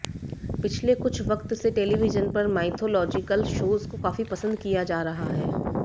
पिछले कुछ वक्त से टेलीविजन पर माइथोलॉजिकल शोज को काफी पसंद किया जा रहा है